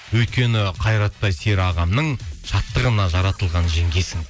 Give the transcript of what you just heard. өйткені қайраттай сері ағамның шаттығына жаратылған жеңгесің ой рахмет